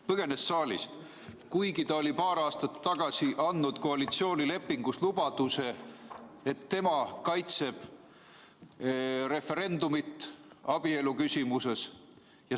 Põgenes saalist, kuigi ta oli paar aastat tagasi andnud koalitsioonilepingus lubaduse, et tema kaitseb referendumit abielu küsimuses.